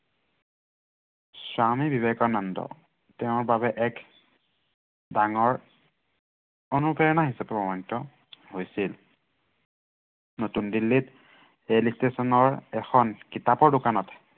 স্বামী বিবেকানন্দ তেওঁ বাবে এক ডাঙৰ অনুপ্ৰেৰণা হিচাপে প্ৰমানিত হৈছিল। নতুন দিল্লীত ৰেল station ৰ এখনৰ কিতাপৰ দোকানত